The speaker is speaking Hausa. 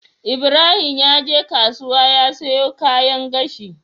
Ibrahim yaje kasuwa ya siyo kayan gashi